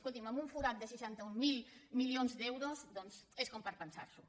escolti’m amb un forat de seixanta mil milions d’euros doncs és com per pensar s’ho